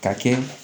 Ka kɛ